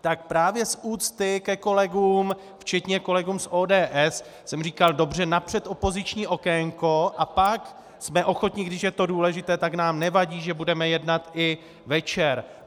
tak právě z úcty ke kolegům, včetně kolegů z ODS, jsem říkal: Dobře, napřed opoziční okénko a pak jsme ochotni, když je to důležité, tak nám nevadí, že budeme jednat i večer.